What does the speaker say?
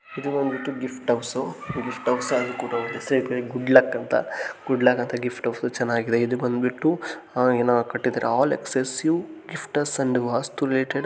ಇದು ಬಂದ್ಬಿಟ್ಟು gift house gift house ಸೈಡ್ನಲ್ಲಿ ಗುಡ್ ಲಕ್ ಅಂತ ಗುಡ್ ಲಕ್ ಅಂತ ಗಿಫ್ಟ್ ಹೌಸು ಚೆನ್ನಾಗಿದೆ ಇದು ಬಂದ್ಬಿಟ್ಟು ಏನೋ ಕಟ್ಟಿದ್ದಾರೆ ಎಲ್ಲ ಆಲ್ ಎಕ್ಸ್ಕ್ಲೂಸಿವ್ ಗಿಫ್ಟ್ಸ್ ಅಂಡ್ ವಸ್ತು ರಿಲೇಟೆಡ್ .